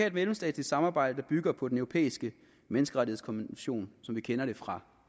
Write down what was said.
et mellemstatsligt samarbejde bygger på den europæiske menneskerettighedskonvention som vi kender det fra